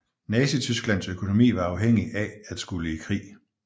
Nazitysklands økonomi var afhængig af at skulle i krig